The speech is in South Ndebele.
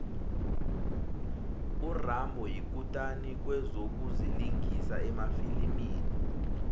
urambo yikutani kwezokulingisa emafilimini